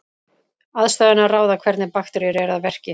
aðstæðurnar ráða hvernig bakteríur eru að verki